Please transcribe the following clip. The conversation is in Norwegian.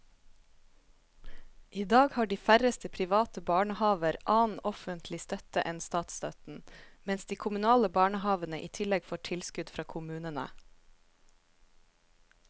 I dag har de færreste private barnehaver annen offentlig støtte enn statsstøtten, mens de kommunale barnehavene i tillegg får tilskudd fra kommunene.